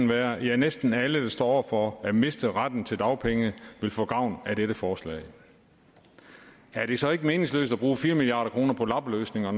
være at næsten alle der står over for at miste retten til dagpenge ville få gavn af det forslag er det så ikke meningsløst at bruge fire milliard kroner på lappeløsninger